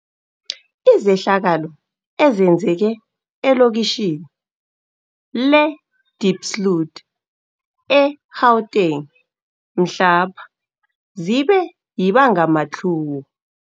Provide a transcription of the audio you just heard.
Izehlakalo ezenzeke elokitjhini le-Diepsloot e-Gauteng mhlapha zibe yibangamatlhuwo.